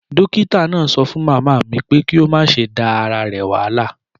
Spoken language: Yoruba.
Dókítà náà sọ fún màmá mi pé kí ó má ​​ṣe máa da ara rẹ̀ wahala.